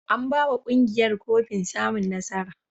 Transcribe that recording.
An ba wa ƙungiyar kofin samun nasara.